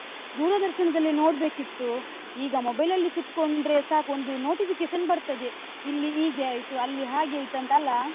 ದೂರದರ್ಶನದಲ್ಲಿ ನೋಡ್ಬೇಕಿತ್ತು. ಈಗ mobile ಅಲ್ಲಿ ಕುತ್ಕೊಂಡ್ರೆ ಸಾಕು, ಒಂದು notification ಬರ್ತದೆ ಇಲ್ಲೀ ಹೀಗೆ ಆಯ್ತು, ಅಲ್ಲಿ ಹಾಗೆ ಆಯ್ತು ಅಂತ್ ಅಲ್ಲಾ?